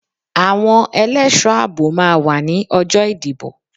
Àwọn ẹlẹ́ẹ̀ṣọ́ àbò máa wá ní ọjọ́ ìdìbò.